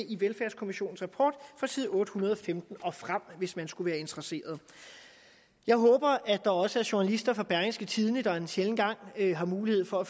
i velfærdskommissionens rapport fra side otte hundrede og femten og frem hvis man skulle være interesseret jeg håber at der også er journalister fra berlingske tidende der en sjælden gang har mulighed for at